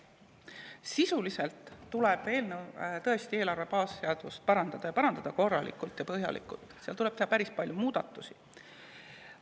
Eelarve baasseadust tuleb tõesti sisuliselt parandada ning parandada korralikult ja põhjalikult, seal tuleb teha päris palju muudatusi.